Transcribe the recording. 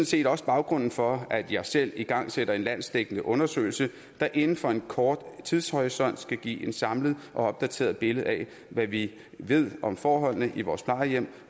set også baggrunden for at jeg selv igangsætter en landsdækkende undersøgelse der inden for en kort tidshorisont skal give et samlet og opdateret billede af hvad vi ved om forholdene på vores plejehjem